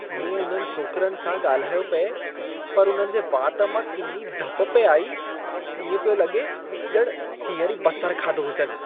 मूं उन्हनि छोकरनि सां ॻाल्हायो पिए, पर उन्हनि जे वात मां किनी धप पिए आई। इएं पियो लॻे ॼण हींअर ई बसरु खाधो हुजेनि।